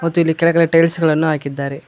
ಮತ್ತು ಇಲ್ಲಿ ಕೆಲಗಳೆ ಟೈಲ್ಸ್ ಗಳನ್ನು ಹಾಕಿದ್ದಾರೆ.